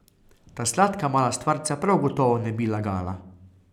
Ta sladka mala stvarca prav gotovo ne bi lagala.